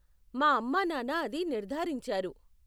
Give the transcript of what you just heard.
మా అమ్మానాన్న అది నిర్ధారించారు.